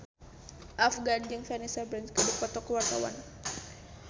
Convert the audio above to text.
Afgan jeung Vanessa Branch keur dipoto ku wartawan